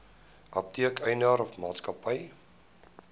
apteek eienaar maatskappy